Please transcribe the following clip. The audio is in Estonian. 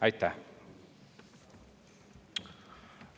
Aitäh!